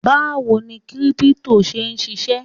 Báwo ni Kírípútò ń ṣe ṣisẹ́?